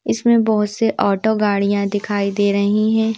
इसमें बहुत से ऑटो गाड़ियां दिखाई दे रही हैं।